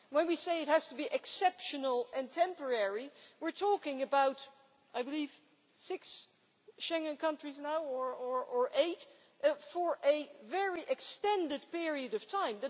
When we say it has to be exceptional and temporary' we are talking about, I believe, six Schengen countries now, or eight, for a very extended period of time.